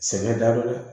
Sɛgɛn daminɛ